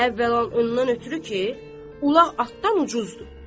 Əvvəla ondan ötrü ki, ulaq atdan ucuzdur.